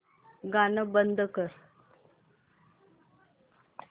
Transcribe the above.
गाणं बंद कर